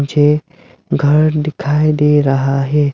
मुझे घर दिखाई दे रहा है।